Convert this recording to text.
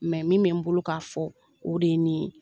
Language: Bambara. Mɛ min bɛ n bolo k'a fɔ o de ye nin ye